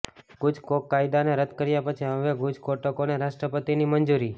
ગુજકોક કાયદાને રદ કર્યા પછી હવે ગુજકોટોક ને રાષ્ટ્રપતિ ની મંજુરી